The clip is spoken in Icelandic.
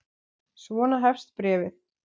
Svona hefst bréfið